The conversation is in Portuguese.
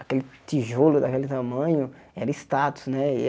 Aquele tijolo daquele tamanho era status, né? E a